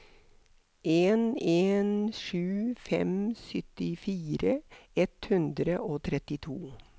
en en sju fem syttifire ett hundre og trettito